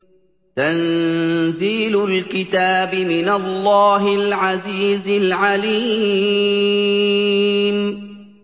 تَنزِيلُ الْكِتَابِ مِنَ اللَّهِ الْعَزِيزِ الْعَلِيمِ